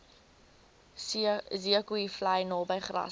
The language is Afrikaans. zeekoevlei naby grassy